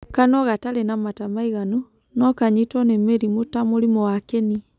Kanua gatarĩ na mata maiganu, no kanyitwo nĩ mĩrimũ ta mũrimũ wa kĩni.